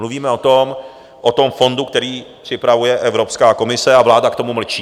Mluvíme o tom fondu, který připravuje Evropská komise, a vláda k tomu mlčí.